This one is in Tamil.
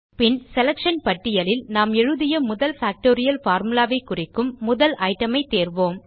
பின் செலக்ஷன் பட்டியலில் நாம் எழுதிய முதல் பாக்டோரியல் பார்முலா ஐ குறிக்கும் முதல் ஐட்டம் ஐ தேர்வோம்